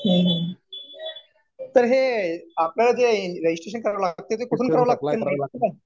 हम्म. तर हे आपल्याला जे रजिस्ट्रेशन करावं लागते ते कुठून करावं लागते?